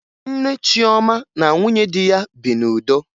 Nne Chioma na nwunye di ya bi n'udo